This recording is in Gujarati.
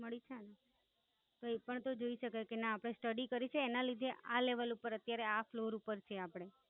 મળી છે ને તો એ પણ તો જોઈ શકે કે ના આપડે Study કરી છે એના લીધે આ Level ઉપર આ Floor ઉપર છીએ આપડે.